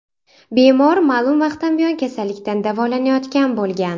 Bemor ma’lum vaqtdan buyon kasallikdan davolanayotgan bo‘lgan.